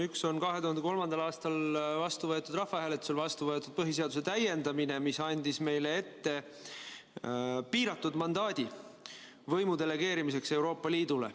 Üks on 2003. aastal rahvahääletusel vastu võetud põhiseaduse täiendamise seadus, mis andis meile piiratud mandaadi võimu delegeerimiseks Euroopa Liidule.